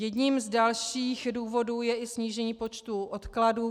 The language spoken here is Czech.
Jedním z dalších důvodů je i snížení počtu odkladů.